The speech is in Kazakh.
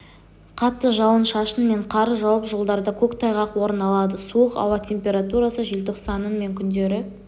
қатты жауын-шашын мен қар жауып жолдарда көктайғақ орын алады суық ауа температурасы желтоқсанның мен күндері